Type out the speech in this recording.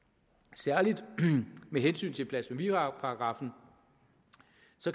særlig med hensyn til blasfemiparagraffen